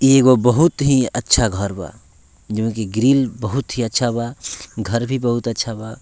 इ एगो बहुत अच्छा घर बा जे में ग्रिल बहुत अच्छा बा घर भी बहुत अच्छा बा।